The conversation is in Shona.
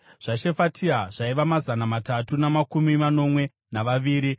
zvaShefatia zvaiva mazana matatu namakumi manomwe navaviri;